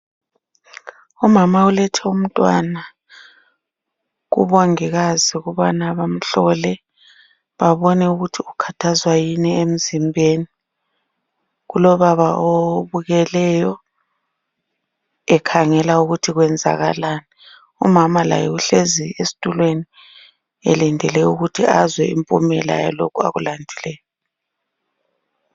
Umama ulethe umntwana kumongikazi ukubana bamhlole babone ukuthi ukhathazwa yini emzimbeni, kulobaba obukeleyo ekhangela ukuthi kwenzakalani umama laye uhlezi esitulweni elindele ukuthi azwe impumela yalokho okulandileyo.